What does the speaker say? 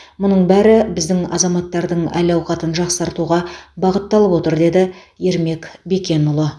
мұның бәрі біздің азаматтардың әл ауқатын жақсартуға бағытталып отыр деді ермек бекенұлы